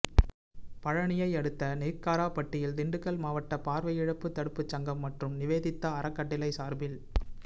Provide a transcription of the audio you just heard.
பழனியை அடுத்த நெய்க்காரபட்டியில் திண்டுக்கல் மாவட்ட பாா்வையிழப்பு தடுப்பு சங்கம் மற்றும் நிவேதிதா அறக்கட்டளை சாா்பில்